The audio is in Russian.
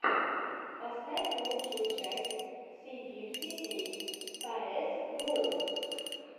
поставь лучшую часть си фифти эйт каэс гоу